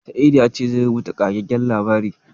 Sa'idu ya ce zai rubuta ƙagaggen labari.